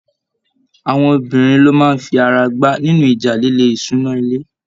Àwọn obìnrin ló máa fi ara gbá nínú ìjà líle ìṣúná ilé.